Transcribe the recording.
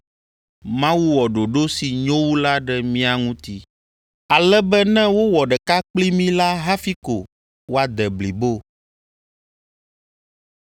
Mawu wɔ ɖoɖo si nyo wu la ɖe mía ŋuti, ale be ne wowɔ ɖeka kpli mí la hafi ko woade blibo.